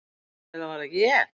Eða var það ég?